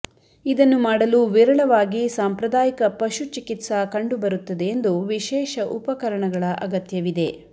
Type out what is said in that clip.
ಇದನ್ನು ಮಾಡಲು ವಿರಳವಾಗಿ ಸಾಂಪ್ರದಾಯಿಕ ಪಶು ಚಿಕಿತ್ಸಾ ಕಂಡುಬರುತ್ತದೆ ಎಂದು ವಿಶೇಷ ಉಪಕರಣಗಳ ಅಗತ್ಯವಿದೆ